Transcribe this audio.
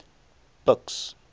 buks